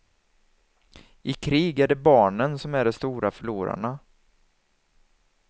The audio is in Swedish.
I krig är det barnen som är de stora förlorarna.